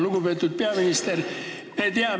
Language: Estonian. Lugupeetud peaminister!